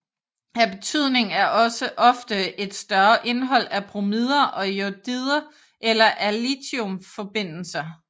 Af betydning er også ofte et større indhold af bromider og jodider eller af lithiumforbindelser